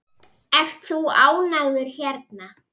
Ert þú ánægður hérna?